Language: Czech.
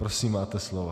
Prosím, máte slovo.